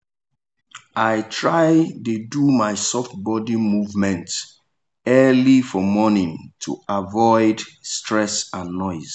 i try dey do my soft body movement early for morning to avoid stress and noise.